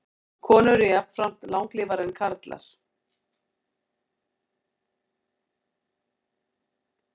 Konur eru jafnframt langlífari en karlar.